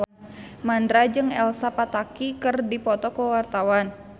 Mandra jeung Elsa Pataky keur dipoto ku wartawan